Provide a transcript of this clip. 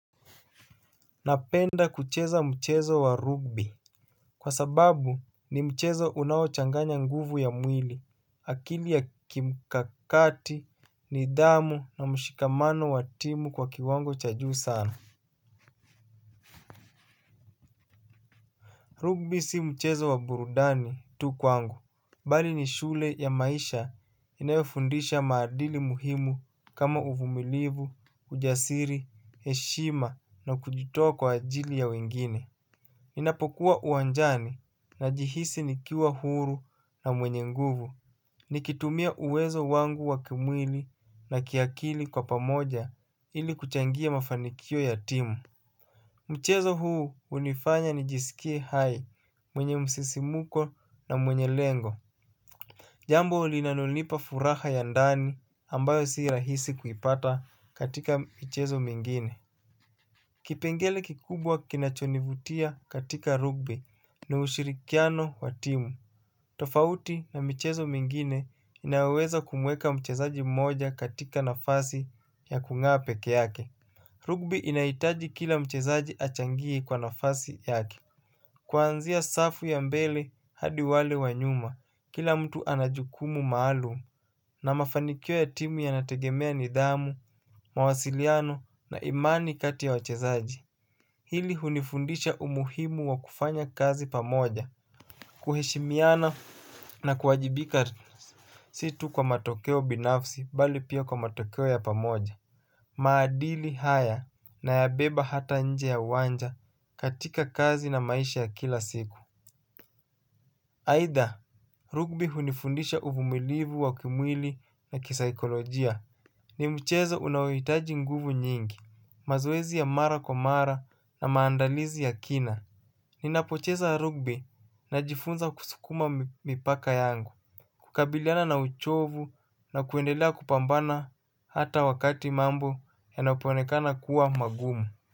Napenda kucheza mchezo wa rugby. Kwa sababu ni mchezo unaochanganya nguvu ya mwili akili ya kimkakati nidhamu na mshikamano wa timu kwa kiwango cha juu sana rugby si mchezo wa burudani tu kwangu. Bali ni shule ya maisha inayofundisha maadili muhimu kama uvumilivu, ujasiri, heshima na kujitoa kwa ajili ya wengine. Ninapokuwa uwanjani najihisi nikiwa huru na mwenye nguvu. Nikitumia uwezo wangu wa kimwili na kiakili kwa pamoja ili kuchangia mafanikio ya timu. Mchezo huu hunifanya nijisikie hai mwenye msisimuko na mwenye lengo. Jambo linanonipa furaha ya ndani ambayo sirahisi kuipata katika mchezo mengine. Kipengele kikubwa kinachonivutia katika rugby na ushirikiano wa timu. Tofauti na michezo mengine inaweza kumweka mchezaji mmoja katika nafasi ya kungaa pekee yake rugby inahitaji kila mchezaji achangie kwa nafasi yake. Kwanzia safu ya mbele hadi wale wa nyuma, kila mtu anajukumu maalum. Na mafanikio ya timu yanategemea nidhamu, mawasiliano na imani kati ya wachezaji hili hunifundisha umuhimu wa kufanya kazi pamoja. Kuheshimiana na kuajibika si tu kwa matokeo binafsi bali pia kwa matokeo ya pamoja. Maadili haya nayabeba hata nje ya uwanja katika kazi na maisha ya kila siku. Aidha Rugby hunifundisha uvumilivu wa kimwili na kisaikolojia. Ni mchezo unaohitaji nguvu nyingi. Mazoezi ya mara kwa mara na maandalizi ya kina. Ninapocheza rugby najifunza kusukuma mipaka yangu. Kukabiliana na uchovu na kuendelea kupambana hata wakati mambo yanapoonekana kuwa magumu.